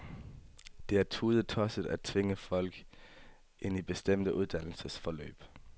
Det er tudetosset at tvinge folk ind i bestemte uddannelsesforløb.